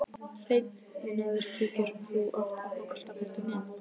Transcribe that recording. Hreinn unaður Kíkir þú oft á Fótbolti.net?